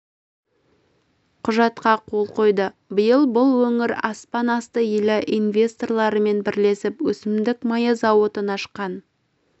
құжатқа қол қойды биыл бұл өңір аспан асты елі инвесторларымен бірлесіп өсімдік майы зауытын ашқан